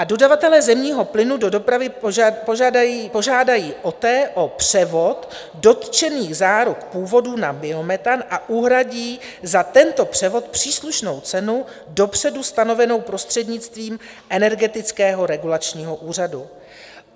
A dodavatelé zemního plynu do dopravy požádají OTE o převod dotčených záruk původu na biometan a uhradí za tento převod příslušnou cenu dopředu stanovenou prostřednictvím Energetického regulačního úřadu.